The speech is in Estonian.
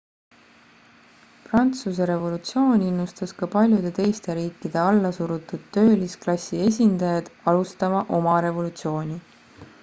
prantsuse revolutsioon innustas ka paljude teiste riikide allasurutud töölisklassi esindajaid alustama oma revolutsiooni